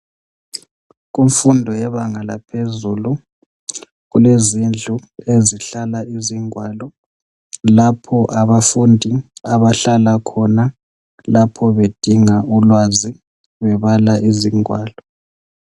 Kumfundo yebanga laphezulu kulezindlu ezihlala izingwalo lapho abafundi abahlala khona lapho bedinga ulwazi bebala izingwalo.